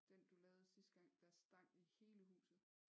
Den du lavede sidste gang der stank i hele huset